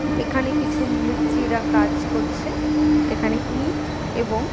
এইখানে কিছু মিস্ত্রিরা কাজ করছে এইখানে ইট এবং--